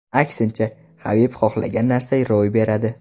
Aksincha, Habib xohlagan narsa ro‘y beradi.